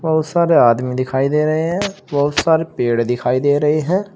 बहुत सारे आदमी दिखाई दे रहे हैं। बहुत सारे पेड़ दिखाई दे रहे हैं।